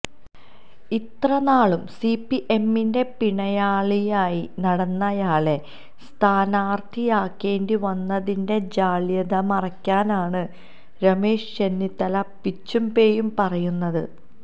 ഇത്രനാളും സിപിഎമ്മിന്റെ പിണിയാളായി നടന്നയാളെ സ്ഥാനാര്ത്ഥിയാക്കേണ്ടി വന്നതിന്റെ ജാള്യത മറയ്ക്കാനാണ് രമേശ് ചെന്നിത്തല പിച്ചും പേയും പറയുന്നത്